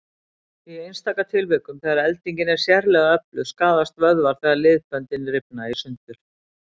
Í einstaka tilvikum, þegar eldingin er sérlega öflug, skaðast vöðvar þegar liðbönd rifna í sundur.